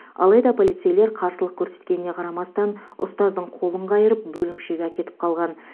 алайда полицейлер қарсылық көрсеткеніне қарамастан ұстаздың қолын қайырып бөлімшеге әкетіп қалған